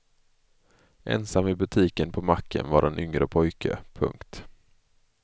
Ensam i butiken på macken var en yngre pojke. punkt